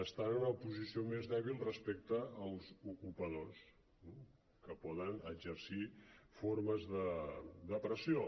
estan en una posició més dèbil respecte als ocupadors que poden exercir formes de pressió